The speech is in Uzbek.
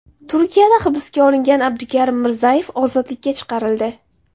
Turkiyada hibsga olingan Abdukarim Mirzayev ozodlikka chiqarildi.